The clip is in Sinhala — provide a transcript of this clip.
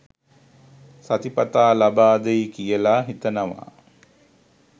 සතිපතා ලබාදෙයි කියලා හිතනවා